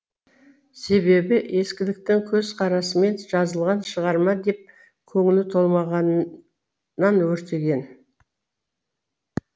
себебі ескіліктің көзқарасымен жазылған шығарма деп көңілі толмағаннан өртеген